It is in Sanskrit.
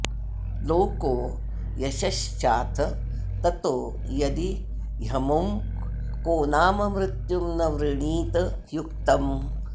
लोको यशश्चाथ ततो यदि ह्यमुं को नाम मृत्युं न वृणीत युक्तम्